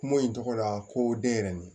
Kuma in tɔgɔ la ko den yɛrɛ nin